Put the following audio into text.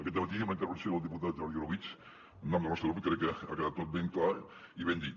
aquest dematí amb la intervenció del diputat jordi orobitg en nom del nostre grup crec que ha quedat tot ben clar i ben dit